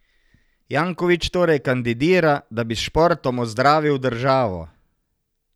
Janković torej kandidira, da bi s športom ozdravil državo.